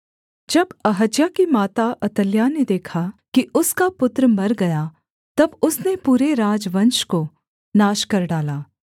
जब अहज्याह की माता अतल्याह ने देखा कि उसका पुत्र मर गया तब उसने पूरे राजवंश को नाश कर डाला